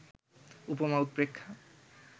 উপমা-উৎপ্রেক্ষা